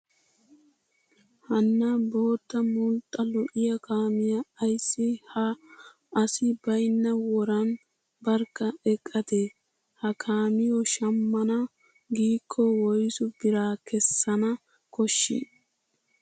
Hanna bootta mulxxa lo'iyaa kaamiyaa ayissi ha asi bayinna woran barkka eqqadee? Ha kaamiyoo shammana giikko woyisu bira kessana koshshii